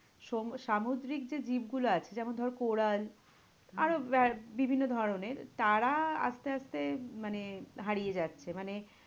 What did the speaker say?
সমু~ সামুদ্রিক যে জীবগুলো আছে যেমন ধর coral আরো ব্য- বিভিন্ন ধরণের তারা আস্তে আস্তে মানে হারিয়ে যাচ্ছে। মানে